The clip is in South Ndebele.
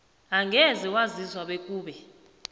angeze waziswa bekube